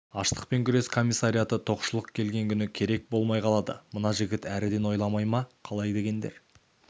аштықпен күрес комиссариаты тоқшылық келген күні керек болмай қалады мына жігіт әріден ойламай ма қалай дегендер